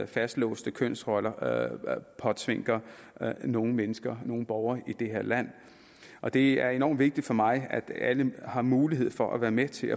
fastlåste kønsroller påtvinger nogle mennesker nogle borgere i det her land og det er enormt vigtigt for mig at alle har mulighed for at være med til